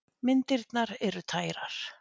Myndirnar eru tærar.